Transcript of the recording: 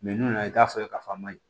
n'u nana i t'a fɔ k'a fɔ a ma ɲi